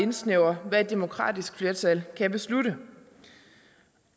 indsnævrer hvad et demokratisk flertal kan beslutte